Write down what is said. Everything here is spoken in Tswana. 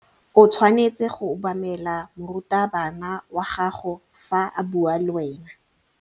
O tshwanetse go obamela morutabana wa gago fa a bua le wena.